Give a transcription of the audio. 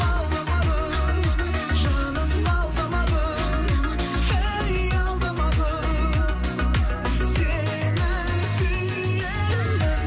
алдамадым жаным алдамадым әй алдамадым сені сүйемін